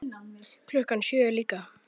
Klukkan sjö líka.